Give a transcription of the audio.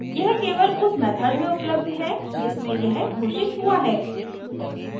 यह केवल उस मेथड में उपलब्ध है जिसमें यह घोषित हुआ है